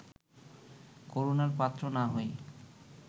করুণার পাত্র না হই